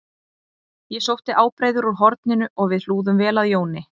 Ég sótti ábreiður úr horninu og við hlúðum vel að Jóni